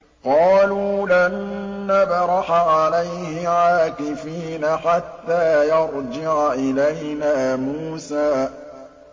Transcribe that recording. قَالُوا لَن نَّبْرَحَ عَلَيْهِ عَاكِفِينَ حَتَّىٰ يَرْجِعَ إِلَيْنَا مُوسَىٰ